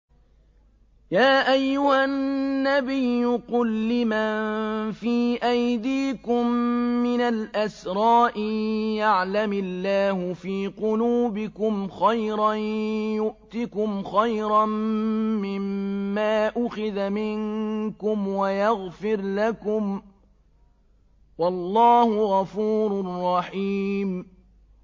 يَا أَيُّهَا النَّبِيُّ قُل لِّمَن فِي أَيْدِيكُم مِّنَ الْأَسْرَىٰ إِن يَعْلَمِ اللَّهُ فِي قُلُوبِكُمْ خَيْرًا يُؤْتِكُمْ خَيْرًا مِّمَّا أُخِذَ مِنكُمْ وَيَغْفِرْ لَكُمْ ۗ وَاللَّهُ غَفُورٌ رَّحِيمٌ